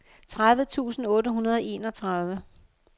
tredive tusind otte hundrede og enogtredive